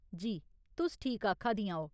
जी, तुस ठीक आखा दियां ओ।